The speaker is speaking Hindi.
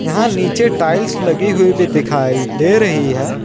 यहां नीचे टाइल्स लगी हुई भी दिखाई दे रही है।